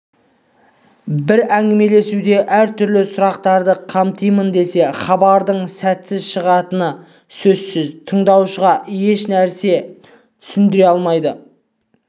бір әңгімелесуде әр түрлі сұрақтарды қамтимын десе хабардың сәтсіз шығатыны сөзсіз тыңдаушыға ешнәрсе түсіндіре алмайды